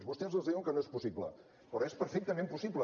vostès els diuen que no és possible però és perfectament possible